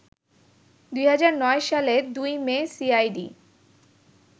২০০৯ সালের ২ মে সিআইডি